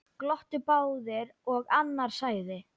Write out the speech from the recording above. Glottu báðir og annar sagði: